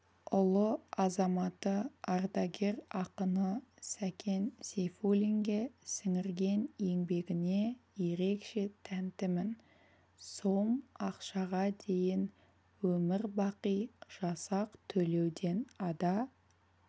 ұлы азаматы ардагер ақыны сәкен сейфуллинге сіңірген еңбегіне ерекше тәнтімін сом ақшаға дейін өмір-бақи жасақ төлеуден ада